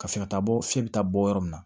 Ka fɛ ka taa bɔ fiɲɛ bɛ taa bɔ yɔrɔ min na